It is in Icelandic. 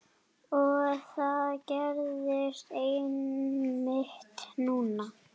Og það gerðist einmitt núna!